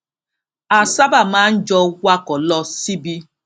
a sábà máa ń jọ wakò lọ síbi